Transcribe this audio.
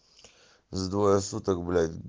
за двое суток блять